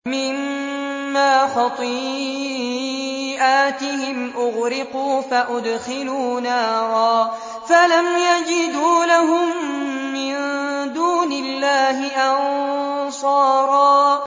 مِّمَّا خَطِيئَاتِهِمْ أُغْرِقُوا فَأُدْخِلُوا نَارًا فَلَمْ يَجِدُوا لَهُم مِّن دُونِ اللَّهِ أَنصَارًا